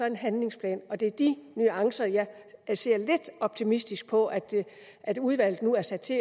en handlingsplan og det er de nuancer jeg ser lidt optimistisk på at udvalget nu er sat til